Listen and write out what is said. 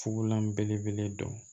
Fugulan belebele dɔ